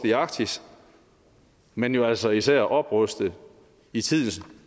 i arktis men jo altså især opruste i tidens